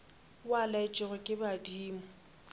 o a laetšwego ke badimo